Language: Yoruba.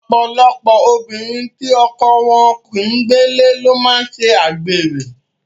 Ọ̀pọ̀lọpọ̀ obìnrin tí ọkọ wọn kì ń gbélé ló máa ń ṣe àgbèrè.